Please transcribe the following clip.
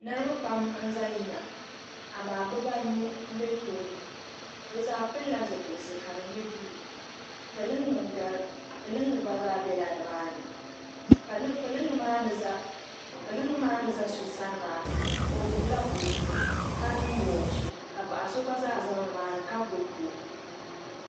niriba pam n-za yiŋa amaa bɛ baa anu m-be tooni bɛ zaa pilila zupiliti ka di nyɛ buluu pilinga gba zaa bela ni maa ni pilinga maa ni za so sani maa o gbubi la buku ka niŋ wɔchi ka paɣ' so gba zaa za ni maa ni ka gbubi buku.